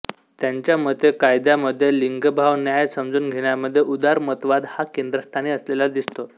त्यांच्या मते कायद्यामध्ये लिंगभाव न्याय समजून घेण्यामध्ये उदारमतवाद हा केंद्रस्थानी असलेला दिसतो